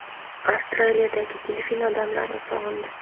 Avstraliyadagi delfin odamlarni sog‘indi.